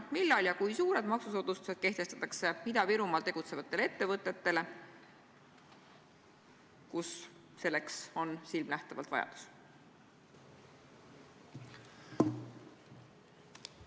" Millal ja kui suured maksusoodustused kehtestatakse ettevõtetele, mis tegutsevad Ida-Virumaal, kus nende soodustuste järele on silmanähtavalt vajadus?